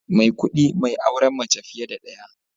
Maikudi mai auren mace fiye da daya